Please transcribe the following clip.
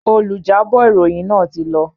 Olùjábọ̀ ìròyìn ti lọ.